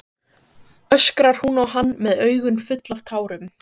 öskrar hún á hann með augun full af tárum.